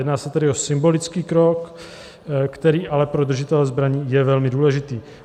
Jedná se tedy o symbolický krok, který ale pro držitele zbraní je velmi důležitý.